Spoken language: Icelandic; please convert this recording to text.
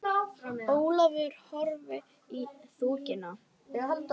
Ólafur horfði í þokuna.